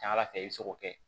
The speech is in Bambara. Ca ala fɛ i bɛ se k'o kɛ